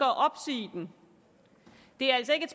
at opsige den det er altså ikke